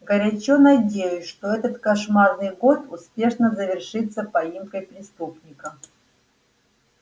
горячо надеюсь что этот кошмарный год успешно завершится поимкой преступника